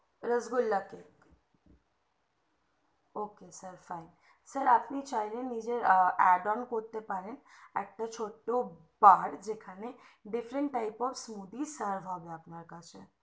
rasgulla cake ok sir fine sir আপনি চাইলে নিজের add one করতে পারেন একটা ছোট্ট বার যেখানে different types of food serff হবে আপনার কাছে